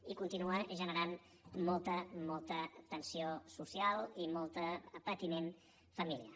i continua generant molta molta tensió social i molt patiment familiar